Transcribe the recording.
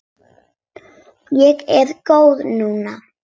Ég er góð núna.